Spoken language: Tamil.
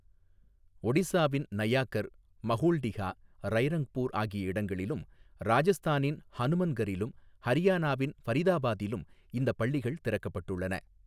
ஒடிசாவின் நயாகர், மஹூல்டிஹா, ரைரங்பூர் ஆகிய இடங்களிலும் ராஜஸ்தானின் ஹனுமன்கரிலும், ஹரியானாவின் ஃபரிதாபாத்திலும் இந்தப் பள்ளிகள் திறக்கப்பட்டுள்ளன.